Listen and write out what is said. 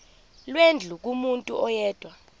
lwendlu kumuntu oyedwa